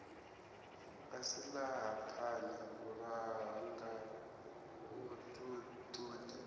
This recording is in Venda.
a silahapani u langa vhuṱundi